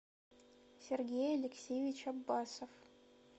сергей алексеевич аббасов